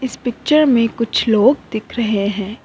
इस पिक्चर में कुछ लोग दिख रहे हैं।